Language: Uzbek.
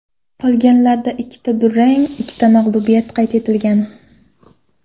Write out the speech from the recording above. Qolganlarida ikkita durang va ikkita mag‘lubiyat qayd etilgan.